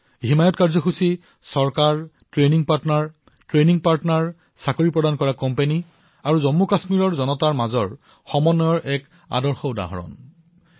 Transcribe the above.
হিমায়ৎ কাৰ্যসূচী চৰকাৰ প্ৰশিক্ষণ সহযোগী কৰ্ম সংস্থাপনৰ প্ৰদান কৰা উদ্যোগসমূহ আৰু জম্মুকাশ্মীৰৰ জনতাৰ মাজত এক সুন্দৰ সামঞ্জস্যতাৰ উদাহৰণ হিচাপে প্ৰতীয়মান হৈছে